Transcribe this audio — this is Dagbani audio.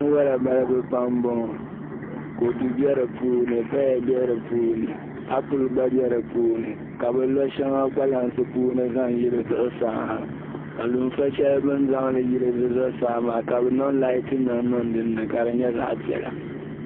Binwala balibu pam n bɔŋɔ, kodu be di puuni paya be di puuni, aple gba be di puuni, ka bɛ lɔ shaŋa kpalansi puuni n zaŋ yili zuɣu saha, ka lunfa shɛli biɛni zaŋli yili di zuɣu saa maa ka bɛ niŋ laati nim niŋ dinni ka di nyɛ zaɣi piɛla